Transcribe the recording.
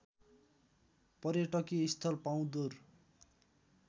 पर्यटकीय स्थल पाउँदुर